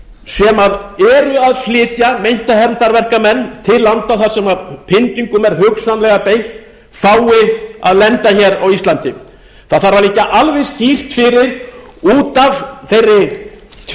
fangaflugvélar sem eru að flytja meinta hermdarverkamenn til landa þar sem pyndingum er hugsanlega beitt fái að lenda á íslandi það þarf að liggja alveg skýrt fyrir út af þeirri